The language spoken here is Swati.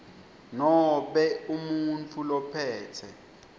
nobe umuntfu lophetse